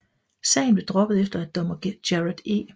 Sagen blev droppet efter at dommer Gerard E